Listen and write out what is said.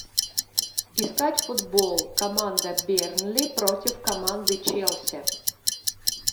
искать футбол команда бернли против команды челси